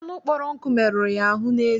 Anụ kpọrọ nkụ meruru ya ahụ n'eze.